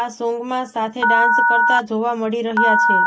આ સોંગમાં સાથે ડાન્સ કરતા જોવા મળી રહ્યા છે